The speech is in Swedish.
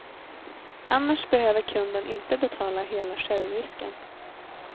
Annars behöver kunden inte betala hela självrisken.